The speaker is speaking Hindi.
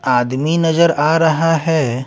आदमी नजर आ रहा है।